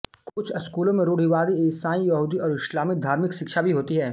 कुछ स्कूलों में रूढ़िवादीईसाई यहूदी और इस्लामी धार्मिक शिक्षा भी होती है